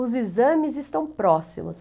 Os exames estão próximos.